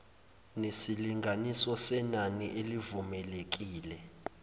nesilinganiso senani elivumelekile